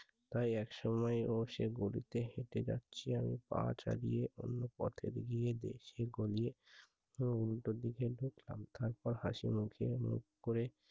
তাই একসময় ও সে বগিতে হেটে যাচ্ছি আমি পা চালিয়ে ওমনি পথের গিয়ে দেখি গলি ও উল্টো দিকে খুব সতর্ক হাসি মুখে মুখ করে